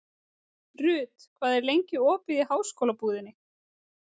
Ruth, hvað er lengi opið í Háskólabúðinni?